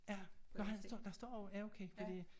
Ja nåh han står der står og ja okay fordi